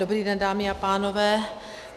Dobrý den, dámy a pánové.